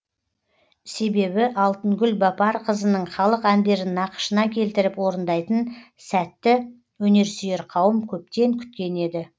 себебі алтынгүл бапарқызының халық әндерін нақышына келтіріп орындайтын сәтті өнерсүйер қауым көптен күткен еді